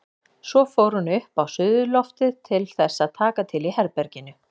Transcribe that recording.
Svo fór hún upp á suðurloftið til þess að taka til í herberginu.